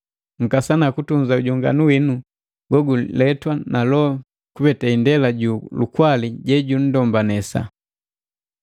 Nkasana kutunza ujonganu winu goguletwa na Loho kupete indela ju lukwali jejundombanesa.